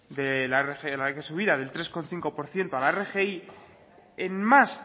de la rgi la subida del tres coma cinco por ciento a la rgi en más